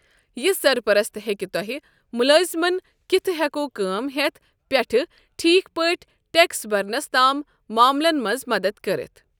یہِ سرپرست ہیٚكہِ توہہِ ، مُلٲزمن كِتھٕ ہٮ۪كو كٲم ہیتھ پٮ۪ٹھ ٹھیكھ پٲٹھۍ ٹیكس برنس تام معملن منٛز مدتھ كرِتھ ۔